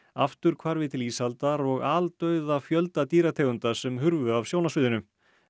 afturhvarfi til ísaldar og aldauða fjölda dýrategunda sem hurfu af sjónarsviðinu